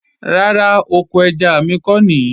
Rárá, oko ẹja mi ko nìí